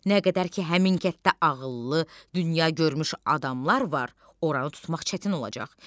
Nə qədər ki, həmin kənddə ağıllı, dünyagörmüş adamlar var, oranı tutmaq çətin olacaq.